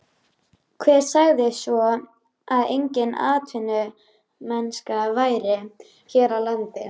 Hver sagði svo að engin atvinnumennska væri hér á landi?